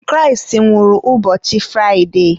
Kraịst nwụrụ ụbọchị Fraide